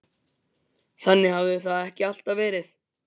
Þannig hafði það ekki alltaf verið.